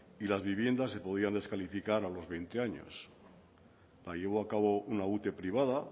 y las viviendas se podían descalificar a los veinte años la llevó a cabo una ute privada